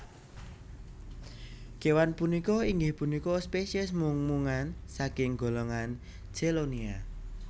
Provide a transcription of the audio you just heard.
Kéwan punika inggih punika spesies mung mungan saking golongan Chelonia